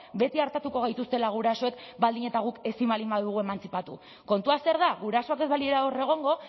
beti artatuko gaituztela gurasoek baldin eta guk ezin baldin badugu emantzipatu kontua zer da gurasoak ez balira hor egongo